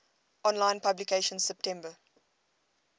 online publication september